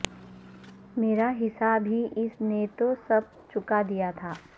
مرا حساب ہی اس نے تو سب چکا دیا تھا